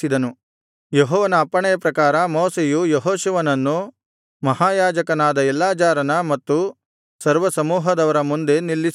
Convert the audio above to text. ಯೆಹೋವನ ಅಪ್ಪಣೆಯ ಪ್ರಕಾರ ಮೋಶೆಯು ಯೆಹೋಶುವನನ್ನು ಮಹಾಯಾಜಕನಾದ ಎಲ್ಲಾಜಾರನ ಮತ್ತು ಸರ್ವಸಮೂಹದವರ ಮುಂದೆ ನಿಲ್ಲಿಸಿದನು